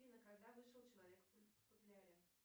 афина когда вышел человек в футляре